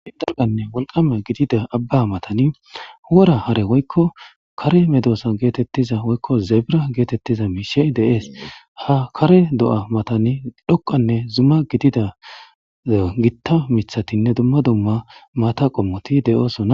Gitanne wolqama gidida abba matan wora hare woykko kare medosa geetettiza woykko zebira geetettiza miishshey de'es. Ha kare do'a matan dhoqqanne zuma gidida gita miththatinne dumma dumma maata qommoti de'osona.